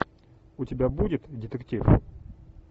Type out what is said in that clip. у тебя будет детектив